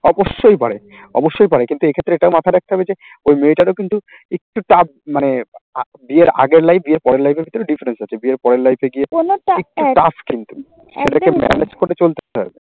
অবশ্যই পারে, অবশ্যই পারে কিন্তু এক্ষেত্রে এটাও মাথায় রাখতে হবে যে ওই মেয়েটারও কিন্তু একটু tough মানে বিয়ের আগের life বিয়ের পরের life এর ভেতরে difference আছে। বিয়ের পরের life এ গিয়ে